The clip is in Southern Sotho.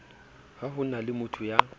ha ho na motho ya